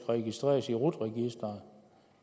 registreres i rut registeret